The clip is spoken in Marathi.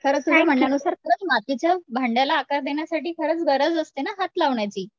खरंच तुझ्या म्हण्या नुसार खरंच मातीच्या च भांड्या ला आकार देण्यासाठी खरंच गरज असते ना हात लावण्याची